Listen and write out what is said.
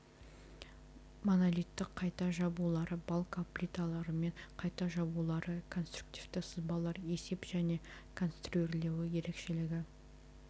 монолиттік қайта жабулары балка плиталарымен қайта жабулары конструктивті сызбалар есеп және конструирлеуі ерекшелігі